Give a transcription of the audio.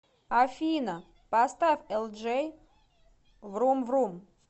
афина поставь элджей врум врум